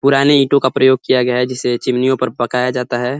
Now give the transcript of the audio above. पुराने ईटों का प्रयोग किया गया है जिसे चिमनियों पर पकाया जाता है।